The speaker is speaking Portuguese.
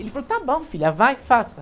Ele falou, está bom, filha, vai, faça.